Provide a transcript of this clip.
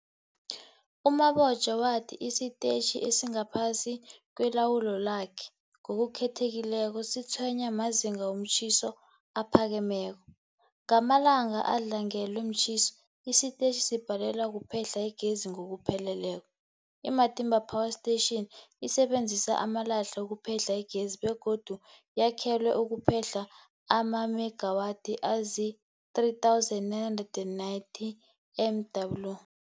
U-Mabotja wathi isitetjhi esingaphasi kwelawulo lakhe, ngokukhethekileko, sitshwenywa mazinga womtjhiso aphakemeko. Ngamalanga adlangelwe mtjhiso, isitetjhi sibhalelwa kuphehla igezi ngokupheleleko. I-Matimba Power Station isebenzisa amalahle ukuphehla igezi begodu yakhelwe ukuphehla amamegawathi azii-3990 MW.